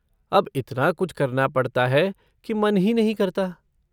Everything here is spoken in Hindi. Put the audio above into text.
अब इतना कुछ करना पड़ता है कि मन ही नहीं करता।